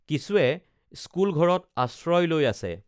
কিছুৱে স্কুল ঘৰত আশ্ৰয় লৈ আছে